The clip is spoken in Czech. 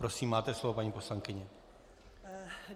Prosím, máte slovo, paní poslankyně.